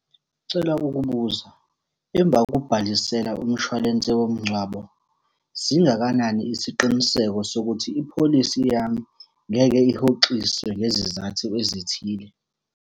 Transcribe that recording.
Ngicela ukubuza, emva kokubhalisela umshwalense womngcwabo, singakanani isiqiniseko sokuthi ipholisi yami ngeke ihoxiswe ngezizathu ezithile?